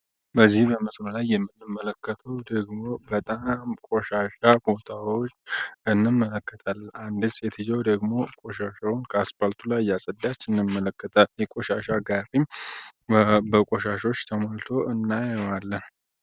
በዚህ በመስኖ ላይ የምትመለከቱት ደግሞ ቆሻሻ ቦታዎችን እንመለከታለን አንዲት ሴትዮ ደግሞ ቆሻሻ እያፀዳች እንመለከታለን የቆሻሻ ጋሪም በቆሻሻ ተሞልቶ እናያለን።